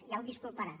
ja el disculparà